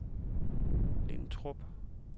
Lintrup